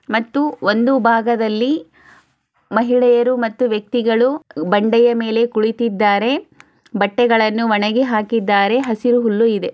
ಮತ್ತು ಒಂದು ಭಾಗದಲ್ಲಿ ಮಹಿಳೆಯರು ಮತ್ತು ವ್ಯಕ್ತಿಗಳು ಬಂಡೆಯ ಮೇಲೆ ಕುಳಿತಿದ್ದಾರೆ ಬಟ್ಟೆಗಳನ್ನು ಒಣಗಿ ಹಾಕಿದ್ದಾರೆ ಹಸಿರು ಹುಲ್ಲು ಇದೆ.